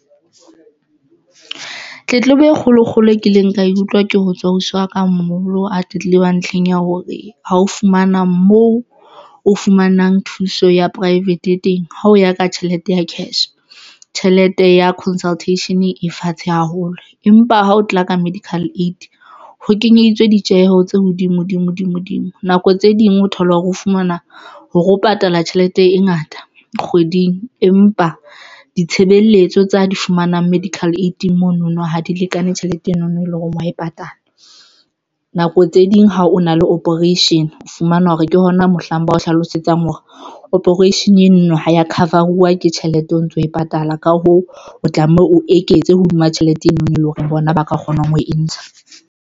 Tletlebo e kgolo kgolo e kileng ka e utlwa ke ho tswa ausi wa ka a moholo a tletleba ntlheng ya hore ha o fumana moo o fumanang thuso ya private e teng. Ha o ya ka tjhelete ya cash, tjhelete ya consultation e fatshe haholo empa ha o tla ka medical aid ho kenyeditswe ditjeho tse hodimo dimo dimo nako tse ding o thola hore o fumana hore o patala tjhelete e ngata kgweding. Empa ditshebeletso tsa di fumanang medical aid mono no ha di lekane tjhelete eno no, e leng hore o ya e patala. Nako tse ding ha o na le operation o fumana hore ke hona mohlang ba o hlalosetsang hore operation eno no ha ya cover-uwa ke tjhelete o ntso e patala, ka hoo o tlameha o eketse hodima tjhelete eno no, e leng hore bona ba ka kgonang ho e ntsha.